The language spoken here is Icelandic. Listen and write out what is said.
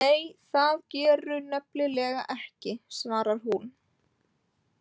Nei, það gerirðu nefnilega ekki, svarar hún.